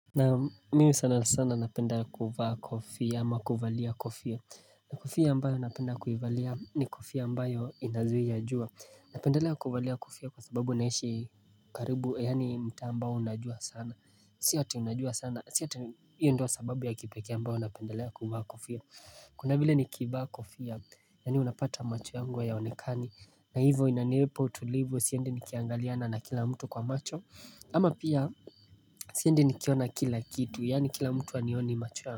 Naam mimi sana sana napenda kuivaa kofia ama kuivalia kofia kofia ambayo napenda kuivalia ni kofia ambayo inazwinya jua Napendelea kuivalia kofia kwa sababu unaishi karibu yani mtaa ambao unajua sana Si ati unajua sana, si ati hiyo ndo sababu ya kipekee ambao unapendelea kuivaa kofia Kuna vile nikivaa kofia, yani unapata macho yangu hayaonekani na hivo inanipa utulivu siendi nikiangaliana na kila mtu kwa macho ama pia sindi nikiona kila kitu yani kila mtu anioni machuwa.